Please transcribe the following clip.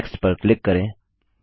next पर click करें